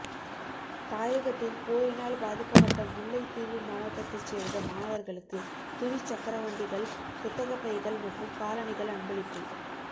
தாயகத்தில் போரினால் பாதிக்கப்பட்ட முல்லைத்தீவு மாவட்டத்தைச் சேர்ந்த மாணவர்களுக்கு துவிச்சக்கரவண்டிகள் புத்தகபைகள் மற்றும் காலணிகள் அன்பளிப்பு